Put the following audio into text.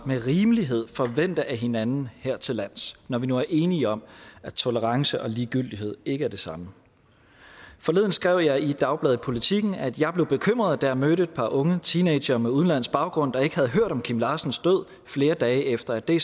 med rimelighed forvente af hinanden hertillands når vi nu er enige om at tolerance og ligegyldighed ikke er det samme forleden skrev jeg i dagbladet politiken at jeg blev bekymret da jeg mødte et par unge teenagere med udenlandsk baggrund der ikke havde hørt om kim larsens død flere dage efter at det